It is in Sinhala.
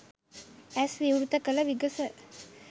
ඇස් විවෘත කළ විගස